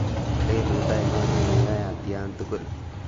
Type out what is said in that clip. lelut ainon neyoe atyan tugul